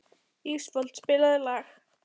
Ísfold, spilaðu lag.